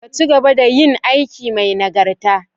Ka ci gaba da yin aiki mai nagarta.